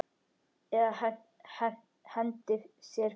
Eða hendi sér fyrir bíl.